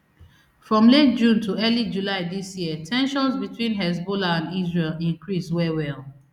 from late june to early july dis year ten sions between hezbollah and israel increase wellwell